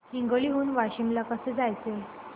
हिंगोली हून वाशीम ला कसे जायचे